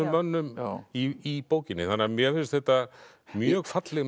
mönnum í bókinni mér finnst þetta mjög falleg